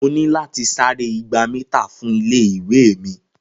Mo ní láti sáré igba mítà fún ilé-ìwé mi.